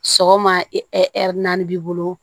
Sɔgɔma naani b'i bolo